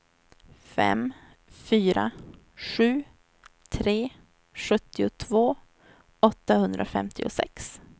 fem fyra sju tre sjuttiotvå åttahundrafemtiosex